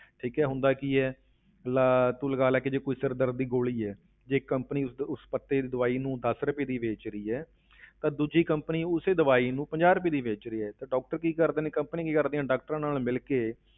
ਠੀਕ ਹੈ ਹੁੰਦਾ ਕੀ ਹੈ ਲਾ ਤੂੰ ਲਗਾ ਲੈ ਕਿ ਜੇ ਕੋਈ ਸਿਰ ਦਰਦ ਦੀ ਗੋਲੀ ਹੈ ਜੇ companies ਉਸਦੇ ਉਸ ਪੱਤੇ ਦੀ ਦਵਾਈ ਨੂੰ ਦਸ ਰੁਪਏ ਦੀ ਵੇਚ ਰਹੀ ਹੈ ਤਾਂ ਦੂਜੀ company ਉਸੇ ਦਵਾਈ ਨੂੰ ਪੰਜਾਹ ਰੁਪਏ ਦੀ ਵੇਚ ਰਹੀ ਹੈ, ਤਾਂ doctor ਕੀ ਕਰਦੇ ਨੇ companies ਕੀ ਕਰਦੀਆਂ doctors ਨਾਲ ਮਿਲ ਕੇ